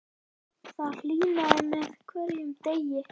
Það hlýnaði með degi hverjum og